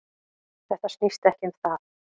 Þetta snýst ekki um það